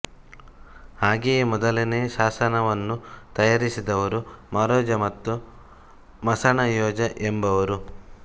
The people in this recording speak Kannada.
ಹಾಗೆಯೇ ಮೊದಲನೇ ಶಾಸನವನ್ನು ತಯಾರಿಸಿದವರು ಮಾರೋಜ ಮತ್ತು ಮಸಣಯೋಜ ಎಂಬುವವರು